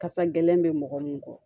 Kasa gɛlɛn bɛ mɔgɔ min kɔ